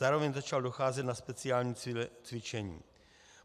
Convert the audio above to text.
Zároveň začal docházet na speciální cvičení.